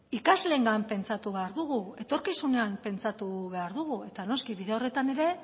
ikasleengan pentsatu behar dugu etorkizunean pentsatu behar dugu eta noski bide horretan ere